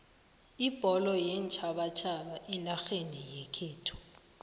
ibholo yeentjhabatjhaba enarheni yekhethu